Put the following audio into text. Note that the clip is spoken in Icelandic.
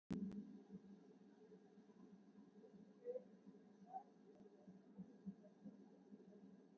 Engin leið er til að svara því hvaða mál er talið flóknast í heimi.